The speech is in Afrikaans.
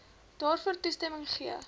daarvoor toestemming gegee